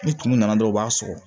Ni tumu nana dɔrɔn u b'a sɔrɔ